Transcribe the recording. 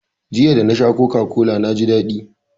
Jiya, da na sha coca-cola na ji daɗi.